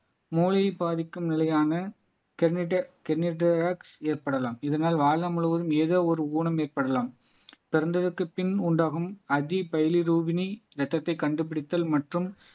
மூளையை பாதிக்கும் நிலையான ஏற்படலாம் இதனால் வாழ்நாள் முழுவதும் ஏதோ ஒரு ஊனம் ஏற்படலாம் பிறந்ததுக்கு பின் உண்டாகும் அதிபை ரூபினி ரத்தத்தை கண்டுபிடித்தல் மற்றும்